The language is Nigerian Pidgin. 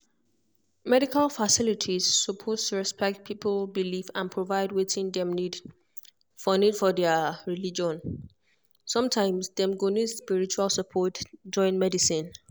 medical facilities suppose respect people belief and provide wetin dem need for need for their religion. sometimes dem go need spiritual support join medicine.